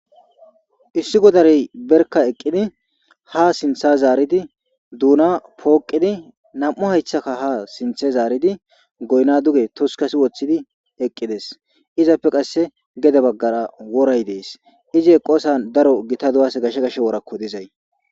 Issi godarey berka eqqidi ha sintha zaaridi duuna pooqidi nam7u haythaka ha sinthe zaaridi goyna duge toskasi woththidi eqqides izappe qasse gede baggara woray dees ize qoosa daro gita du7as gashe gashe worakko dizay.